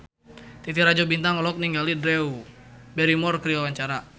Titi Rajo Bintang olohok ningali Drew Barrymore keur diwawancara